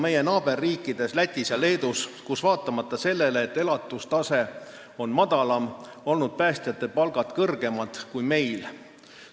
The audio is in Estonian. Meie naaberriikides Lätis ja Leedus on vaatamata sellele, et elatustase seal on madalam, päästjate palgad kõrgemad kui meil.